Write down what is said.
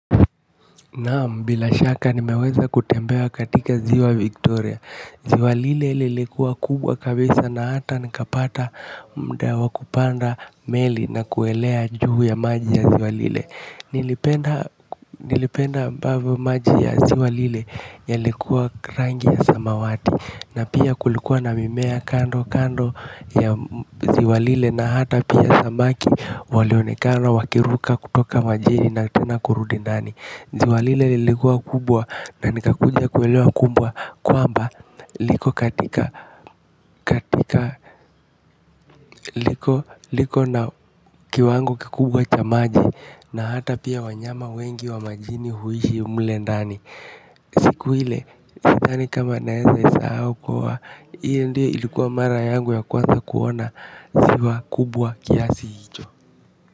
Naam bila shaka nimeweza kutembea katika ziwa Victoria. Ziwa lile lilikuwa kubwa kabisa na hata nikapata mda wa kupanda meli na kuelea juu ya maji ya ziwa Lile. Nilipenda ambavyo maji ya ziwa lile yalikuwa rangi ya samawati. Na pia kulikuwa na mimea kando kando ya ziwa lile na hata pia samaki. Walionekana wakiruka kutoka majini na tena kurudi ndani. Ziwa lile lilikuwa kubwa na nikakuja kuelewa kumbe kwamba liko katika katika liko na kiwango kikubwa cha maji na hata pia wanyama wengi wa majini huishi mle ndani. Siku ile, sidhani kama naeza isahau kuwa, hiyo ndiyo ilikuwa mara yangu ya kwanza kuona ziwa kubwa kiasi hicho.